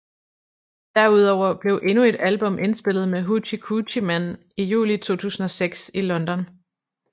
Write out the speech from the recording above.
Derudover blev endnu et album indspillet med Hoochie Coochie Men i juli 2006 i London